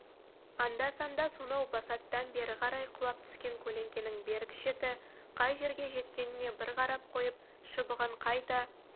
анда-санда сонау басаттан бері қарай құлап түскен көлеңкенің бергі шеті қай жерге жеткеніне бір қарап қойып шыбығын қайта